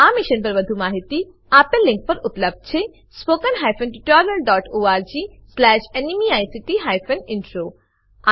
આ મિશન પર વધુ માહિતી spoken hyphen tutorial dot org slash NMEICT hyphen intro આ લીંક પર ઉપલબ્ધ છે